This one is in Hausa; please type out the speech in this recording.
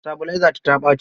Sitabilaizata ta ɓaci.